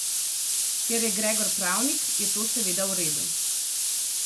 Ker je Gregor pravnik, je to seveda v redu.